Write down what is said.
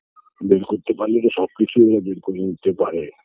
বের করতে পারলে তো সবকিছুই ওরা বের করে নিতে পারে